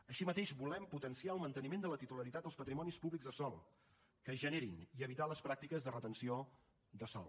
així mateix volem potenciar el manteniment de la titularitat dels patrimonis públics de sòl que es generin i evitar les pràctiques de retenció de sòl